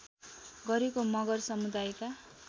गरेको मगर समुदायका